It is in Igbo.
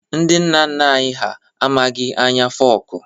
Ndị nna nna anyị ha amaghị anya fọku